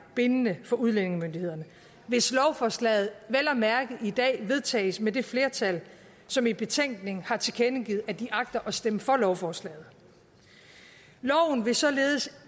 bindende for udlændingemyndighederne hvis lovforslaget vel at mærke i dag vedtages med det flertal som i betænkningen har tilkendegivet at de agter at stemme for lovforslaget loven vil således